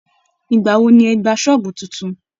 Ìgbà wo ni ẹ gba ṣọ́ọ̀bù tuntun?